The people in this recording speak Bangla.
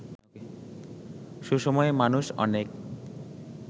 সুসময়ে মানুষ অনেক